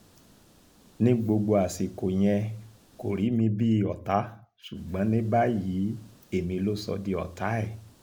ní gbogbo àsìkò yẹn kò rí mi bíi ọ̀tá ṣùgbọ́n ní báyìí èmi ló sọ di ọ̀tá ẹ̀